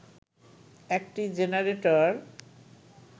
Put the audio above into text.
একটি জেনারেটর